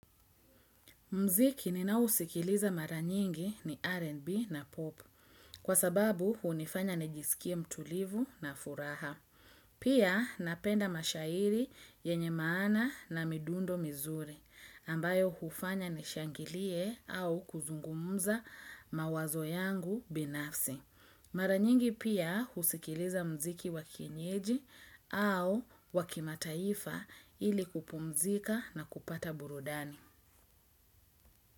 Muziki ninaousikiliza mara nyingi ni R&B na pop kwa sababu hunifanya nijisikie mtulivu na furaha. Pia napenda mashairi yenye maana na midundo mizuri ambayo hufanya nishangilie au kuzungumza mawazo yangu binafsi. Mara nyingi pia husikiliza mziki wakienyeji au wa kimataifa ili kupumzika na kupata burudani.